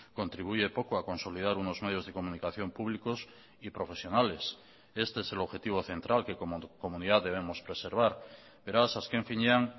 contribuye poco a consolidar unos medios de comunicación públicos y profesionales este es el objetivo central que como comunidad debemos preservar beraz asken finean